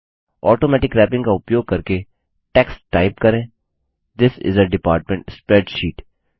automatic wrapping का उपयोग करके टेक्स्ट टाइप करें this is a department spreadsheet